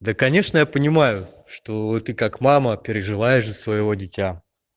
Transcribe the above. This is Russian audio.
да конечно я понимаю что ты как мама переживаешь за своего дитя